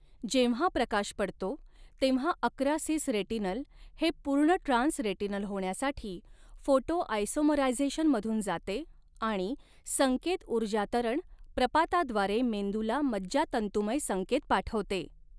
जेव्हा प्रकाश पडतो, तेव्हा अकरा सिस रेटिनल हे पूर्ण ट्रान्स रेटिनल होण्यासाठी फोटोआयसोमरायझेशनमधून जाते आणि संकेत ऊर्जातरण प्रपाताद्वारे मेंदूला मज्जातंतूमय संकेत पाठवते.